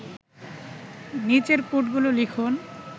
নিচের কোডগুলো লিখুন